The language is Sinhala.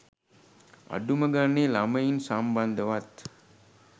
අඩුම ගණනේ ළමයින් සම්බන්ධවවත්